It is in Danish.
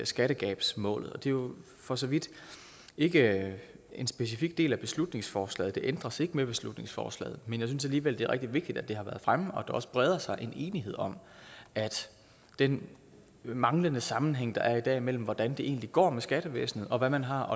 skattegabsmålet det er jo for så vidt ikke en specifik del af beslutningsforslaget det ændres ikke med beslutningsforslaget jeg synes alligevel det er rigtig vigtigt at det har været fremme at der også breder sig en enighed om at den manglende sammenhæng der er i dag mellem hvordan det egentlig går med skattevæsenet og hvad man har